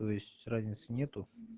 то есть разницы нету